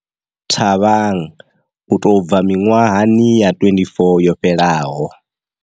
Thabang u tou bva miṅwahani ya 24 yo fhelaho.